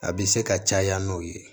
A bɛ se ka caya n'o ye